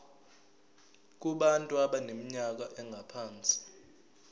kubantu abaneminyaka engaphansi